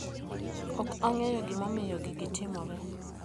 Ok ang'eyo gimomiyo gigi timore.